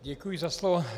Děkuji za slovo.